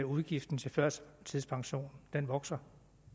udgifterne til førtidspension vokser